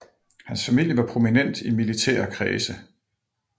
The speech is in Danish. Hans familie var prominent i militære kredse